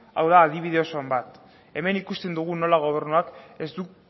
hau da adibide oso on bat hemen ikusten dugu nola gobernuak ez du